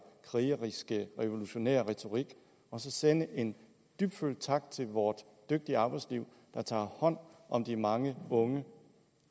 krigeriske revolutionær retorik og sende en dybtfølt tak til vores dygtige arbejdsliv der tager hånd om de mange unge